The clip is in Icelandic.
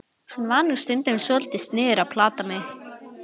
Hann var nú stundum svolítið sniðugur að plata mig.